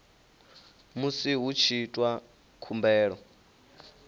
musi hu tshi itwa khumbelo